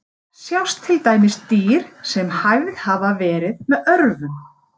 Þar sjást til dæmis dýr sem hæfð hafa verið með örvum.